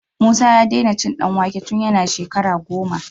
Musa ya dena cin dan wake tun yana shekara goma